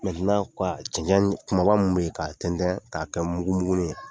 cicɛn mun bɛ yen ka tɛntɛn k'a kɛ mugumugunin ye.